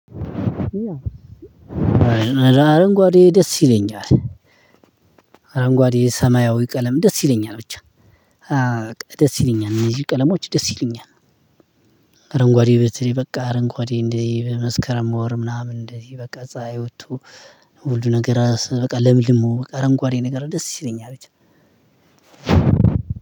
አረንጓዴ ደስ ይለኛል። አረንጓዴ ሰማያዊ ቀለም ደስ ይለኛል ብቻ። ደስ ይለኛል እነዚህ ቀለሞች ደስ ይሉኛል። አረንጓዴ በተለይ በቃ አረንጓዴ እንዲ በመስከረም ወር ምናምን እንደዚ በቃ ፀህይ ወቶ። ሁሉ ነገር በቃ ለምልሞ በቃ አረንጓዴ ነገር ደስ ሲለኝ አቤት